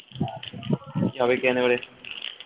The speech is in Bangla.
কি যে হবে কে জানে এবারে